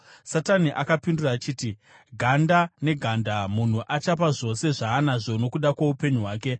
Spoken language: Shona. Satani akapindura achiti, “Ganda neganda! Munhu achapa zvose zvaanazvo nokuda kwoupenyu hwake.